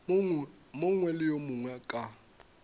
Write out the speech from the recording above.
mongwe le yo mongwe ka